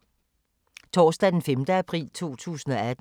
Torsdag d. 5. april 2018